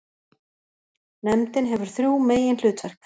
Nefndin hefur þrjú meginhlutverk.